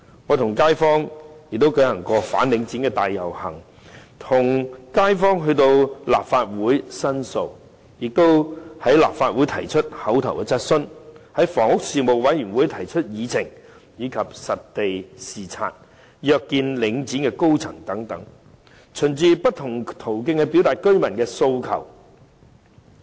我和區內街坊曾舉行反領展大遊行，並與街坊一起前來立法會申訴，而我在立法會亦提出口頭質詢，在房屋事務委員會也曾提出議程項目，以及實地視察和約見領展高層等，循不同途徑表達居民的訴求。